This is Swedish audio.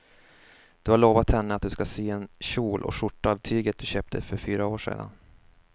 Du har lovat henne att du ska sy en kjol och skjorta av tyget du köpte för fyra år sedan.